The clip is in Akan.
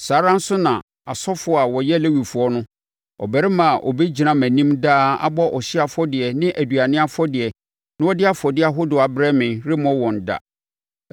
saa ara nso na asɔfoɔ a wɔyɛ Lewifoɔ no, ɔbarima a ɔbɛgyina mʼanim daa abɔ ɔhyeɛ afɔdeɛ ne aduane afɔdeɛ na ɔde afɔdeɛ ahodoɔ abrɛ me, remmɔ wɔn da.’ ”